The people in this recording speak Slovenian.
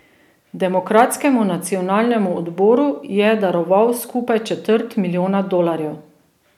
Demokratskemu nacionalnemu odboru je daroval skupaj četrt milijona dolarjev.